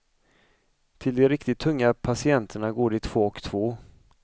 Till de riktigt tunga patienterna går de två och två.